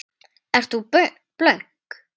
Ert þú blönk?